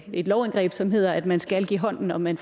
et lovindgreb som hedder at man skal give hånd når man